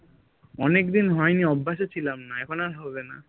অনেকদিন হয়নি অভ্যাসে ছিলাম না এখন আর হবে না